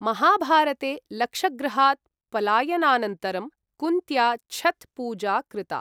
महाभारते लक्षगृहात् पलायनानन्तरं कुन्त्या छथ् पूजा कृता।